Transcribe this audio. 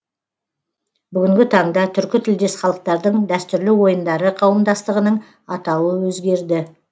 бүгінгі таңда түркі тілдес халықтардың дәстүрлі ойындары қауымдастығының атауы өзгерді